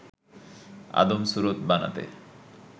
আদম সুরত বানাতে